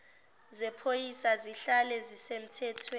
zephoyisa zihlale zisemthethweni